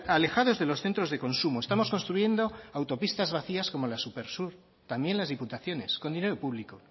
alejados de los centros de consumo estamos construyendo autopistas vacías como la supersur también las diputaciones con dinero público